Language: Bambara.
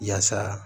Yaasa